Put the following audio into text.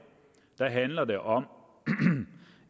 handler det om